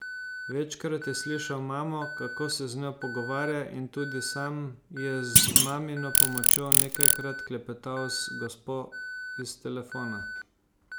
Večkrat je slišal mamo, kako se z njo pogovarja, in tudi sam je z mamino pomočjo nekajkrat klepetal z gospo iz telefona.